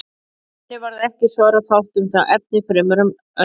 En henni varð ekki svara fátt um það efni fremur en önnur.